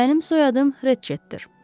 Mənim soyadım Reçetdir.